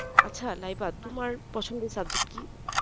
আচ্ছা লাইবা তোমার পছন্দের subject কি